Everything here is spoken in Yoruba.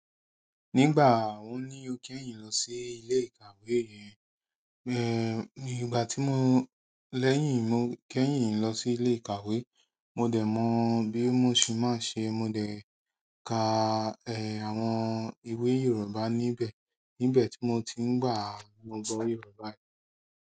Nígbà wo ni o kẹ́yìn lọ sí ilé ìkàwé re? Ìgbà tí mo lẹ́yìn, kẹ́yìn lọ sí ilé ìkàwé mo dé mo bí mo ṣe máa ń ṣe mo dé kà àwọn ìwé yorùbá níbẹ̀. Níbẹ̀ tí mo ti ń gbà, mo gbọ́ Yorùbá.